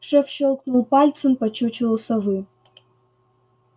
шеф щёлкнул пальцем по чучелу совы